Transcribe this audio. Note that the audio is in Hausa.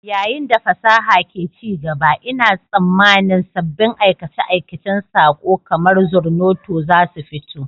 Yayin da fasaha ke ci gaba, ina tsammanin sabbin aikace-aikacen saƙo kamar Zornoto za su fito.